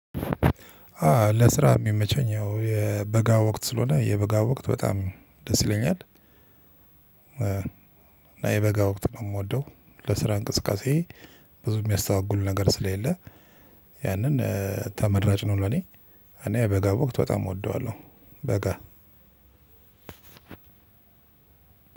አ ለስራ የሚመቸኝ ያው የበጋ ወቅት ስለሆነ የበጋ ወቅት በጣም ደስ ይለኛል። እና የበጋ ወቅት ነው የምወደው ለስራ እንቅስቃሴ ብዙ የሚያስተጓጉል ነገር ስለሌለ ያንን ተመራጭ ነው። ለኔ እኔ የበጋ ወቅት በጣም እወደዋለሁ። በጋ